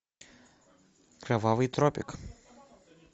кровавый тропик